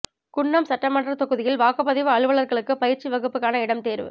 குன்னம் சட்டமன்ற தொகுதியில் வாக்குப்பதிவு அலுவலர்களுக்கு பயிற்சி வகுப்புக்கான இடம் தேர்வு